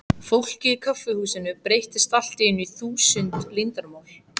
Fólkið í kaffihúsinu breyttist allt í einu í þúsund leyndarmál.